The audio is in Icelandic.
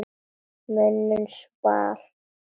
Mönnum svall móður.